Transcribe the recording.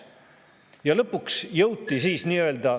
Ja lõpuks jõuti siis nii-öelda …